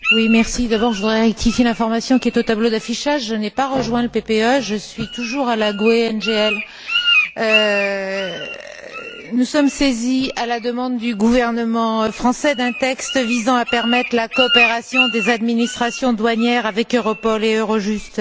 Madame la Présidente, d'abord, je voudrais rectifier l'information qui est au tableau d'affichage. Je n'ai pas rejoint le PPE, je suis toujours à la GUE NGL. Nous sommes saisis, à la demande du gouvernement français, d'un texte visant à permettre la coopération des administrations douanières avec Europol et Eurojust.